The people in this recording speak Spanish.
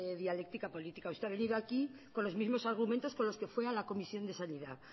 dialéctica política usted ha venido aquí con los mismos argumentos con los que fue a la comisión de sanidad